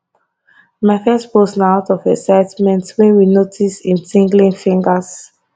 my first post na out of excitement wen we notice im tinglin fingers